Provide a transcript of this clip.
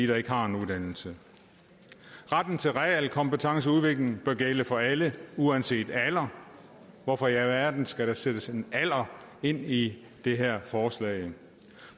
der ikke har en uddannelse retten til realkompetenceudvikling bør gælde for alle uanset alder hvorfor i alverden skal der sættes en alder ind i det her forslag